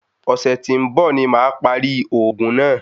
Ọ̀sẹ̀ tí ń bọ̀ ní màá parí òògùn náà.